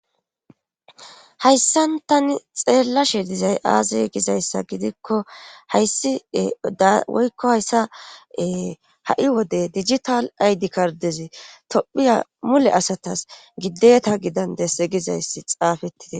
hayssan tani xeellashe dizay aazey gizayssa gidikko hayssie dawoykko hayssaee ha7i wode digital aydi kardezi tophiya mule asatas giddeeta gidandesse gizayssi xaafettite